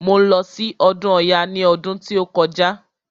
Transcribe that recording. Mo lọ sí ọdún ọya ní ọdún tí ó kọjá.